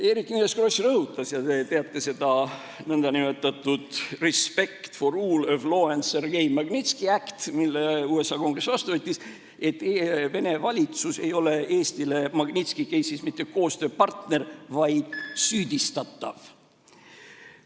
Eerik-Niiles Kross rõhutas – ja te teate seda nn respect for rule of law and Sergei Magnitsky act, mille USA Kongress vastu võttis –, et Vene valitsus ei ole Eestile Magnitski case'is mitte koostööpartner, vaid süüdistatav.